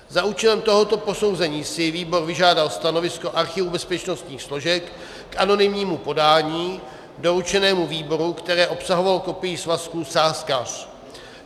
Za účelem tohoto posouzení si výbor vyžádal stanovisko archivu bezpečnostních složek k anonymnímu podání doručenému výboru, které obsahovalo kopii svazků Sázkař.